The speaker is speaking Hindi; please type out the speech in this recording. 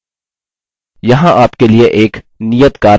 यहाँ आपके लिए एक नियतकार्य है